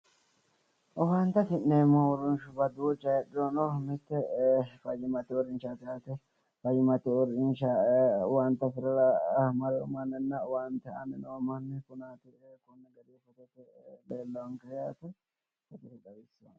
Owaante afi'neemmo uurinsha duucha heedhurono, mite fayyimate uurrinshaati yaate. Owaante afirara mare noo manninna owaante aanni noo manni leellaanke yaate.